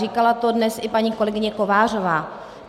Říkala to dnes i paní kolegyně Kovářová.